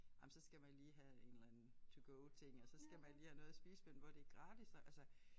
Ej men så skal man lige have en eller anden to go ting og så skal man lige have noget at spise men hvor det gratis og altså